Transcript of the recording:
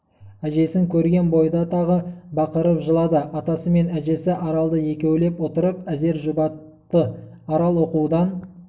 әжесін көрген бойда тағы бақырып жылады атасы мен әжесі аралды екеулеп отырып әзер жұбатты арал оқудан